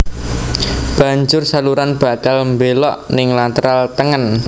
Banjur saluran bakal mbelok ning lateral tengen